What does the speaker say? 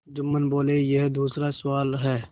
जुम्मन बोलेयह दूसरा सवाल है